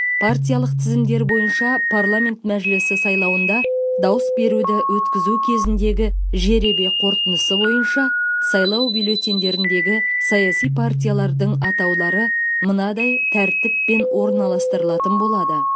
партиялық тізімдер бойынша парламент мәжілісі сайлауында дауыс беруді өткізу кезіндегі жеребе қорытындысы бойынша сайлау бюллетендеріндегі саяси партиялардың атаулары мынадай тәртіппен орналастырылатын болады